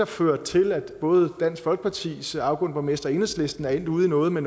ført til at både dansk folkepartis afgående borgmester og enhedslisten er endt ude i noget med